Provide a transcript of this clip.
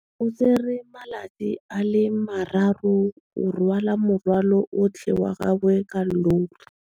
O tsere malatsi a le marraro go rwala morwalo otlhe wa gagwe ka llori.